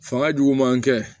Fanga jugu man kɛ